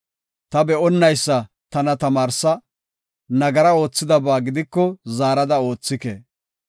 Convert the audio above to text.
Ta be7onnaysa tana tamaarsa; nagara oothidaba gidiko zaarada oothike.